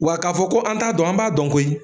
Wa k'a fɔ ko an t'a dɔn, an b'a dɔn koyi